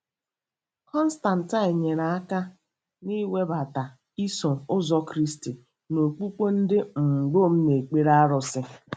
Constantine nyere aka n'iwebata “Iso Ụzọ Kristi” na okpukpe ndị um Rom na-ekpere arụsị.